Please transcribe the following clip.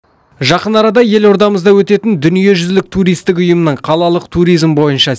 жақын арада елордамызда өтетін дүниежүзілік туристік ұйымның қалалық туризм бойынша